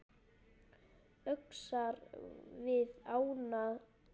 Öxar við ána